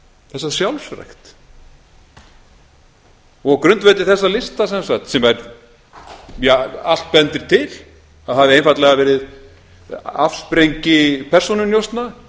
þessa sjálfsrækt og á grundvelli þessa lista sem sagt sem allt bendir til að hafi einfaldlega verið afsprengi persónunjósna